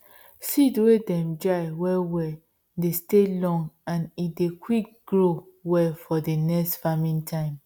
seed wey dem dry well well dey stay long and e dey quick grow well for d next farming time